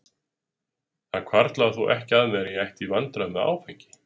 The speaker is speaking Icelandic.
Það hvarflaði þó ekki að mér að ég ætti í vandræðum með áfengi.